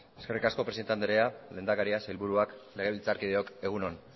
eskerrik asko presidente anderea lehendakaria sailburuak legebiltzarkideok egun on